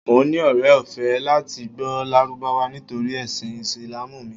Mo ní ọrẹ ọ̀fẹ́ láti gbọ́ Lárúbáwá nítorí ẹ̀sìn Ìsìlámù mi.